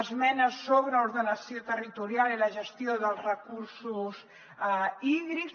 esmenes sobre ordenació territorial i la gestió dels recursos hídrics